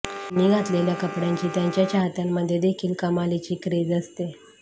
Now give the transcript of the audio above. त्यांनी घातलेल्या कपड्यांची त्यांच्या चाहत्यांमध्ये देखील कमालीची क्रेझ असते